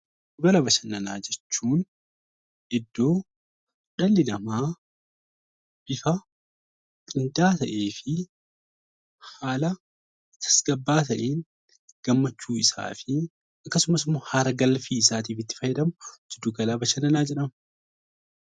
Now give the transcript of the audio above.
Giddugala bashannanaa jechuun iddoo dhalli namaa isa qindaa'aa ta'ee fi haala tasgabba'aa ta'een gammachuu isaafi akkasumas immoo hara-galfii isaatiif itti fayyadamu giddugala bashannanaa jedhama.